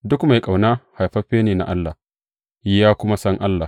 Duk mai ƙauna, haifaffe ne na Allah, ya kuma san Allah.